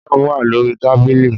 Jam wa lori tabili